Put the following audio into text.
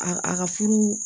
A a ka furu